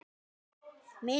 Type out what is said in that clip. JÓN: Jæja, Magnús minn!